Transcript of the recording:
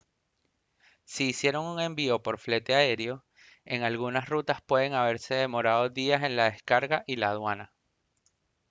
si hicieron un envío por flete aéreo en algunas rutas pueden haberse demorado días en la descarga y la aduana